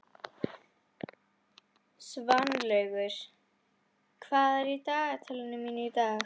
Svanlaugur, hvað er í dagatalinu mínu í dag?